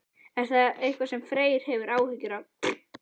Er það eitthvað sem Freyr hefur áhyggjur af?